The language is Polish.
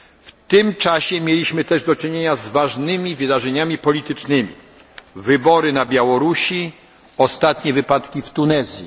W tym czasie mieliśmy też do czynienia z ważnymi wydarzeniami politycznymi wybory na Białorusi, ostatnie wypadki w Tunezji.